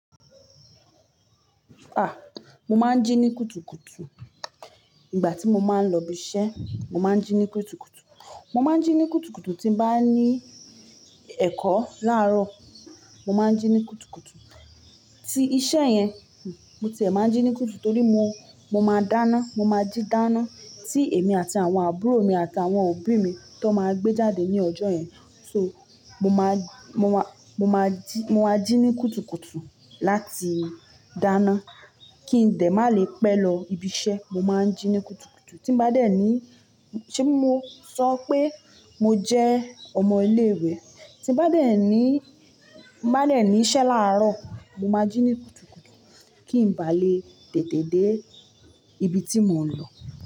Mo máa ń jí ní kùtùkùtù, ìgbà tí mo máa ń lọ ibi iṣẹ́, mo máa ń jí ní kùtùkùtù. Mo máa ń jí ní kùtùkùtù tí n bá ní ẹ̀kọ́ láàárọ̀, mo máa ń jí ní kùtùkùtù. Tí iṣẹ́ yẹn, mo ti ẹ máa ń jí ní kùtù torí mo, mo máa dáná, mo máa jí dáná. Tí èmi àti àwọn àbúrò mi àti àwọn òbí mi ti won máa gbé jáde ní ọjọ́ yẹn, so mo máa, mo máa, mo máa jí, mo máa jí ní kùtùkùtù láti dáná kí n dẹ̀ má lè pẹ̀ lọ ibi iṣẹ́. Mo máa ń jí ní kùtùkùtù. Tí n bá dẹ̀ ní, ṣébi mo sọ pé mo jẹ́ ọmọ ilé ìwé? Tí n bá dẹ̀ ní, n bá dẹ̀ ní iṣẹ́ láàárọ̀, mo máa jí ní kùtùkùtù kí n bá lè tètè dé ibi tí mò ń lọ.